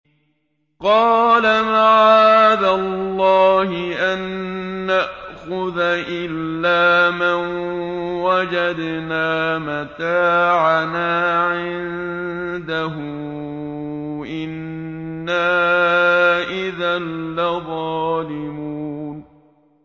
قَالَ مَعَاذَ اللَّهِ أَن نَّأْخُذَ إِلَّا مَن وَجَدْنَا مَتَاعَنَا عِندَهُ إِنَّا إِذًا لَّظَالِمُونَ